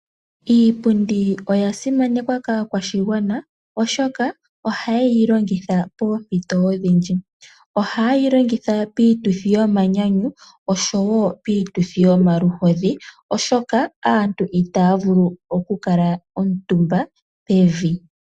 Iipundi oya simanekwa kaa kwashigwana, oshoka ohayeyi longitha poompito odhindji. Ohayeyi longitha piituthi yomanyanyu, noshowo piituthi yomaluhodhi, oshoka aantu itaya vulu okukala omutumba pevi.